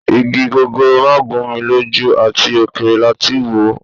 Igi gogoro má gún mi lójú, àti òkèèrè láti wò.